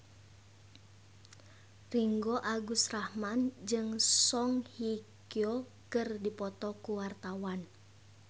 Ringgo Agus Rahman jeung Song Hye Kyo keur dipoto ku wartawan